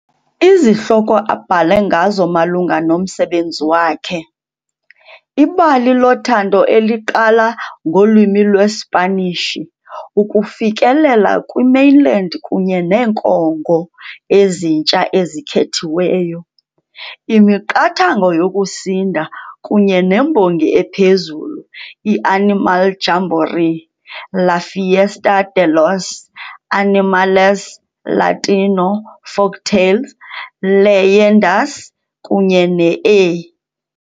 Izihloko abhale ngazo malunga nomsebenzi wakhe - "Ibali loThando eliqala ngolwimi lweSpanish", "Ukufikelela kwi-Mainland kunye neeNkongo eziNtsha ezikhethiweyo", "iMiqathango yokusinda", kunye "nembongi ephezulu", "i-Animal Jamboree - La Fiesta De Los Animales - Latino Folktales - Leyendas", kunye ne "-A" .